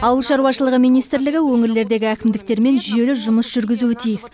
ауыл шаруашылығы министрлігі өңірлердегі әкімдіктермен жүйелі жұмыс жүргізуі тиіс